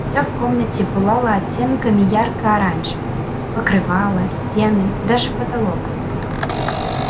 всё в комнате пылало оттенками ярко-оранжевого покрывало стены даже потолок